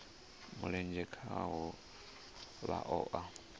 mulenzhe khaho vha o a